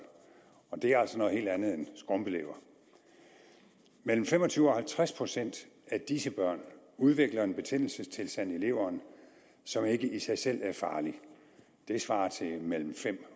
og det er altså noget helt andet end skrumpelever mellem fem og tyve og halvtreds procent af disse børn udvikler en betændelsestilstand i leveren som ikke i sig selv er farlig og det svarer til mellem fem